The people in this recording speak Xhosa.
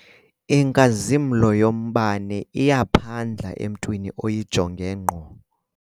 Inkazimlo yombane iyaphandla emntwini oyijonge ngqo.